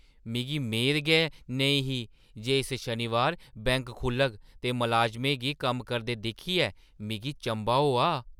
मिगी मेद गै नेईं ही जे इस शनिबारैं बैंक खु 'ल्लग ते मलाजमें गी कम्म करदे दिक्खियै मिगी चंभा होआ।